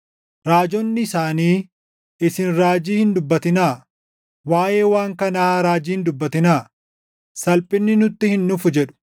Raajonni isaanii, “Isin raajii hin dubbatinaa; waaʼee waan kanaa raajii hin dubbatinaa; salphinni nutti hin dhufu” jedhu.